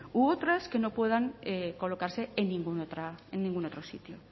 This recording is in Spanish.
u otras que no puedan colocarse en ningún otro sitio